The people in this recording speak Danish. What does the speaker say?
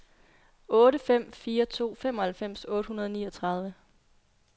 otte fem fire to femoghalvfems otte hundrede og niogtredive